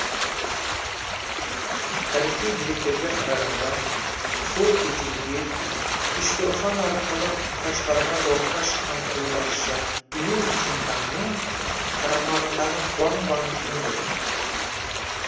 тарихи деректерге қарағанда сол кезеңде үштұрфан арқылы қашғарға жорыққа шыққан қолбасшы лю цзинтаңның қарамағындағы хуаң ванпиң еді